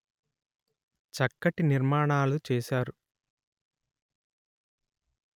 చక్కటి నిర్మాణాలు చేసారు